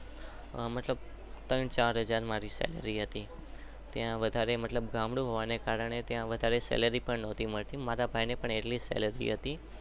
મતલબ ત્રણ ચાર હાજર સેલેર્ય હતી મારા ભાઈને પણ એટલી જ સેલેર્ય હતી.